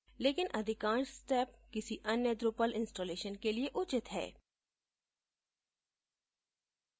लेकिन अधिकांश steps किसी any drupal installation के लिए उचित है